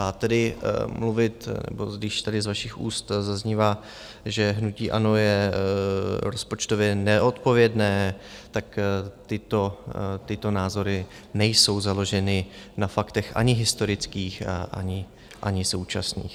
A tedy mluvit, nebo když tady z vašich úst zaznívá, že hnutí ANO je rozpočtově neodpovědné, tak tyto názory nejsou založeny na faktech ani historických, ani současných.